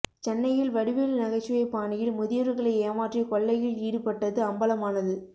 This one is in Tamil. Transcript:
சென்னையில் வடிவேலு நகைச்சுவை பாணியில் முதியவர்களை ஏமாற்றி கொள்ளையில் ஈடுபட்டது அம்பலமானது